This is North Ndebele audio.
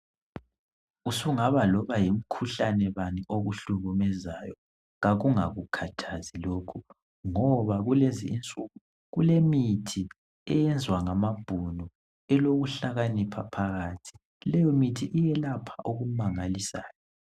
Usungaba loba ngumkhuhlane bani okuhlukumezayo akungakukhathazi lokhu ngoba kulezi insuku kulemithi eyenzwa ngamabhunu elokuhlakanipha phakathi, leyo mithi iyelapha okumangalisayo